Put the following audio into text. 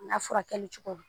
N ka furakɛli cogo ma.